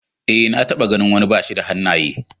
Ee, na taɓa ganin wani bashi da hannaye.